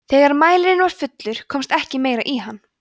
þegar mælirinn var fullur komst ekki meira í hann